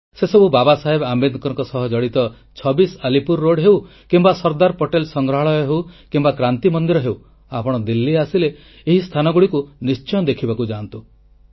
ସେସବୁ ବାବା ସାହେବ ଆମ୍ବେଦକରଙ୍କ ସହ ଜଡ଼ିତ 26 ଆଲିପୁର ରୋଡ୍ ହେଉ କିମ୍ବା ସର୍ଦ୍ଦାର ପଟେଲ ସଂଗ୍ରହାଳୟ ହେଉ କିମ୍ବା କ୍ରାନ୍ତି ମନ୍ଦିର ହେଉ ଆପଣ ଦିଲ୍ଲୀ ଆସିଲେ ଏହି ସ୍ଥାନଗୁଡ଼ିକୁ ନିଶ୍ଚୟ ଦେଖିବାକୁ ଯାଆନ୍ତୁ